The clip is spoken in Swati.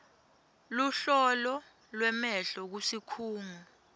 luhlolo lwemehlo kusikhungo